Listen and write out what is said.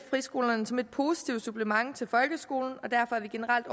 friskolerne som et positivt supplement til folkeskolen og derfor er vi generelt